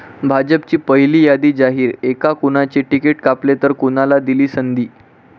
भाजपची पहिली यादी जाहीर, ऐका कुणाचे तिकीट कापले तर कुणाला दिली संधी